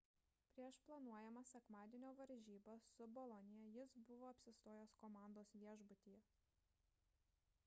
prieš planuojamas sekmadienio varžybas su bolonija jis buvo apsistojęs komandos viešbutyje